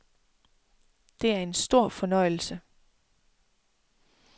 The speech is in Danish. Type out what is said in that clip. Det er en stor fornøjelse.